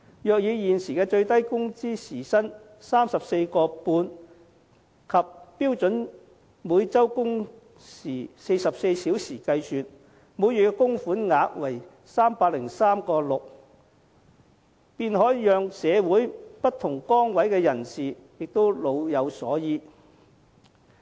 如以現時最低工資時薪 34.5 元及每周標準工時44小時計算，每月供款額為 303.6 元，便可讓社會上不同崗位的人士也老有所依。